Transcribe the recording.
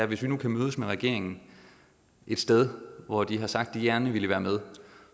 hvis vi nu kan mødes med regeringen et sted hvor de har sagt de gerne vil være med